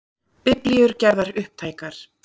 Biblíur gerðar upptækar